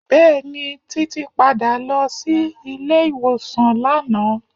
Bẹẹni, Títí padà lọ sí ilé ìwòsàn lánàá.